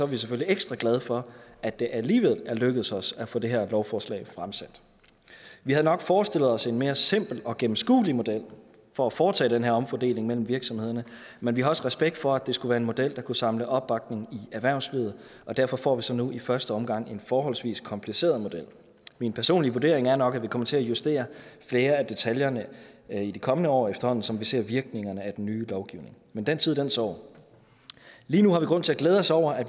vi selvfølgelig ekstra glade for at det alligevel er lykkedes os at få det her lovforslag fremsat vi havde nok forestillet os en mere simpel og gennemskuelig model for at foretage den her omfordeling mellem virksomhederne men vi har også respekt for at det skulle være en model der kunne samle opbakning i erhvervslivet og derfor får vi så nu i første omgang en forholdsvis kompliceret model min personlige vurdering er nok at vi kommer til at justere flere af detaljerne i de kommende år efterhånden som vi ser virkningerne af den nye lovgivning men den tid den sorg lige nu har vi grund til at glæde os over at